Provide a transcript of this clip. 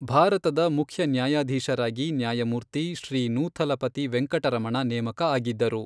ಭಾರತದ ಮುಖ್ಯ ನ್ಯಾಯಾಧೀಶರಾಗಿ ನ್ಯಾಯಮೂರ್ತಿ ಶ್ರೀ ನೂಥಲಪತಿ ವೆಂಕಟ ರಮಣ ನೇಮಕ ಆಗಿದ್ದರು.